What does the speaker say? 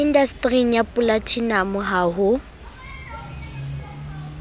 indastering ya polatinamo ha ho